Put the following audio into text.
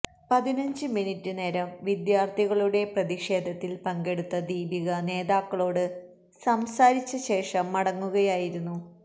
പതിനഞ്ച് മിനിറ്റ് നേരം വിദ്യാർഥികളുടെ പ്രതിഷേധത്തിൽ പങ്കെടുത്ത ദീപിക നേതാക്കളോട് സംസാരിച്ച ശേഷം മടങ്ങുകയായിരുന്നു